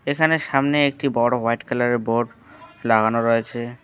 এখানে সামনে একটি বড় হোয়াইট কালারের বোর্ড লাগানো রয়েছে।